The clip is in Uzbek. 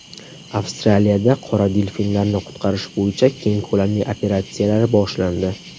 Avstraliyada qora delfinlarni qutqarish bo‘yicha keng ko‘lamli operatsiyalar boshlandi.